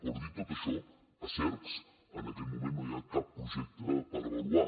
però dit tot això a cercs en aquest moment no hi ha cap projecte per avaluar